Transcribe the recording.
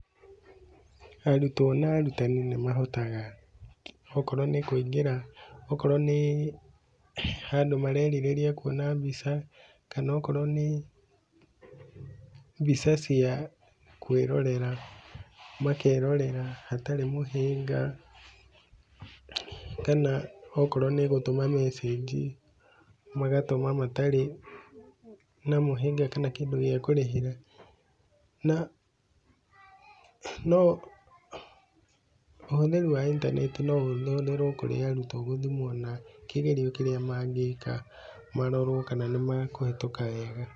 Arutwo na arutani nĩ mahotaga okorwo nĩ kũingĩra, okorwo nĩ handũ marerireria kuona mbica, kana okorwo nĩ mbica cia kwĩrorera, makerorera hatarĩ mũhĩnga kana okorwo nĩ gũtũma message, magatũma matarĩ na mũhĩnga kana kĩndũ gĩa kũrĩhĩra, na no ũhũthĩri wa intaneti no ũhũthĩrwo kũrĩ arutwo gũthimwo na kĩgerio kĩrĩa mangĩka, marorwo kana nĩ makũhĩtũka wega.